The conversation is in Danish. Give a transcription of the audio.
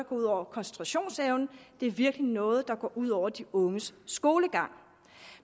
ud over koncentrationsevnen det er virkelig noget der går ud over de unges skolegang